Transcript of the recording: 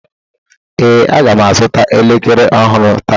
Ee, Aga m azụta elekere ọhụrụ taa